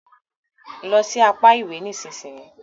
Lọ sì apá ìwé nísìsiyìí!